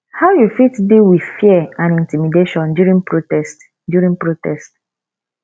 how you fit deal with fear and intimidation during protest during protest